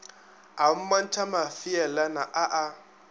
a mmontšha mafeelana a a